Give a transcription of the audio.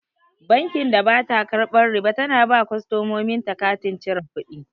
Bankin da bata karɓan riba tana ba kostomomin ta katin cire kuɗi